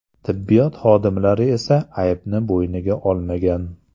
Tibbiyot xodimlari esa aybni bo‘yniga olmagan.